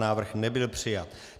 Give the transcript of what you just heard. Návrh nebyl přijat.